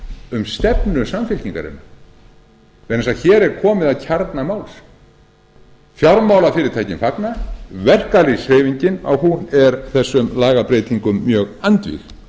um stefnu samfylkingarinnar vegna þess að hér er komið að kjarna máls fjármálafyrirtækin fagna verkalýðshreyfingin er þessum lagabreytingum mjög andvíg